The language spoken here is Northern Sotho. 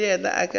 le yena ke ge a